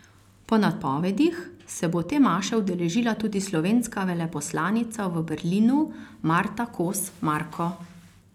Po napovedih se bo te maše udeležila tudi slovenska veleposlanica v Berlinu Marta Kos Marko.